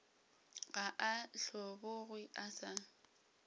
ga a hlobogwe a sa